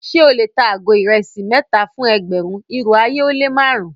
Ṣẹ o le tà àgó irèsí mẹta fún ẹgbérùn, irò ayé o le màrùn-un?